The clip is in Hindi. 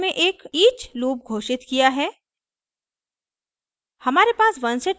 मैंने इस उदाहरण में एक each लूप घोषित किया है